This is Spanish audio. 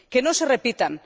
Que no se repitan.